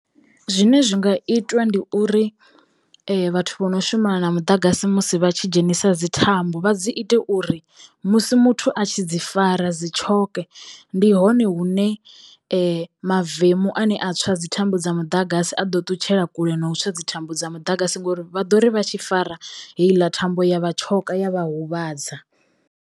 Zwine zwi nga itwa ndi uri vhathu vho no shumana na muḓagasi musi vha tshi dzhenisa dzi thambo vha dzi ite uri musi muthu a tshi dzi fara dzi tshoke ndi hone hune mavemu ane a tswa dzi thambo dza muḓagasi a ḓo ṱutshela kule no u tswa dzi thambo dza muḓagasi ngori vha ḓo ri vha tshi fara heiḽa thambo ya vhatshoka ya vha huvhadza.